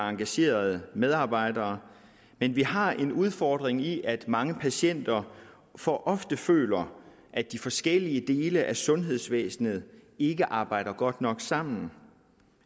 engagerede medarbejdere men vi har en udfordring i at mange patienter for ofte føler at de forskellige dele af sundhedsvæsenet ikke arbejder godt nok sammen